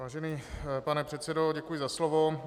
Vážený pane předsedo, děkuji za slovo.